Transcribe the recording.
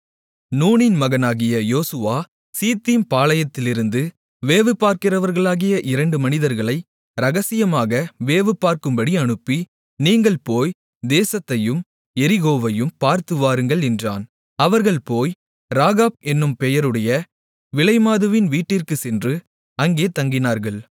நூனின் மகனாகிய யோசுவா சித்தீம் பாளையத்திலிருந்து வேவுபார்க்கிறவர்களாகிய இரண்டு மனிதர்களை இரகசியமாக வேவுபார்க்கும்படி அனுப்பி நீங்கள் போய் தேசத்தையும் எரிகோவையும் பார்த்துவாருங்கள் என்றான் அவர்கள் போய் ராகாப் என்னும் பெயருடைய விலைமாதுவின் வீட்டிற்குச் சென்று அங்கே தங்கினார்கள்